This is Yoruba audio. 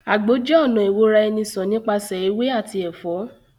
Àgbo jẹ́ ọ̀nà ìwora-eni-sàn nípasẹ̀ ewé àti ẹ̀fọ́